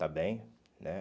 está bem, né?